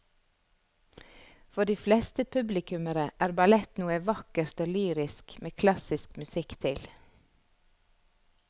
For de fleste publikummere er ballett noe vakkert og lyrisk med klassisk musikk til.